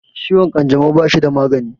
Ciwon ƙanjamau bashi da magani